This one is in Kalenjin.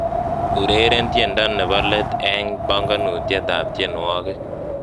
ureren tiendo nebo let eng bongonutietab tienywogik